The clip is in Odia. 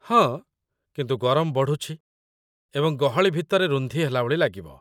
ହଁ, କିନ୍ତୁ ଗରମ ବଢ଼ୁଛି ଏବଂ ଗହଳି ଭିତରେ ରୁନ୍ଧି ହେଲାଭଳି ଲାଗିବ।